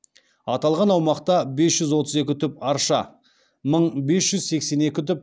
аталған аумақта бес жүз отыз екі түп арша мың бес жүз сексен екі түп